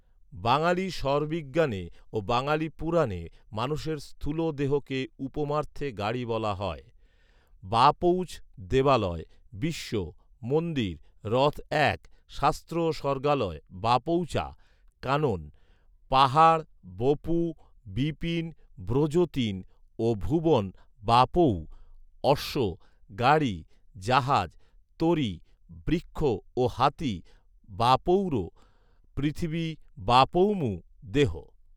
বাঙালী শ্বরবিজ্ঞানে ও বাঙালী পুরাণে, মানুষের স্থূল দেহকে উপমার্থে গাড়ি বলা হয় বাপৌছ দেবালয়, বিশ্ব, মন্দির, রথ এক, শাস্ত্র ও স্বর্গালয় বাপৌচা কানন, পাহাড়, বপু, বিপিন, ব্রজ তিন ও ভুবন বাপৌউ অশ্ব, গাড়ি, জাহাজ, তরী, বৃক্ষ ও হাতি বাপৌরূ পৃথিবী বাপৌমূ দেহ